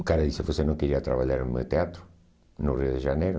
O cara disse, você não queria trabalhar no meu teatro, no Rio de Janeiro?